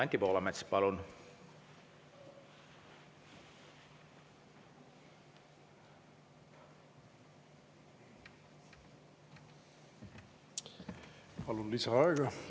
Anti Poolamets, palun!